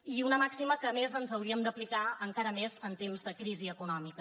i una màxima que a més ens hauríem d’aplicar encara més en temps de crisi econòmica